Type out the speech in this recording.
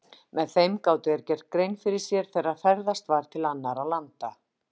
Með þeim gátu þeir gert grein fyrir sér þegar ferðast var til annarra landa.